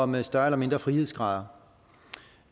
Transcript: med større eller mindre frihedsgrader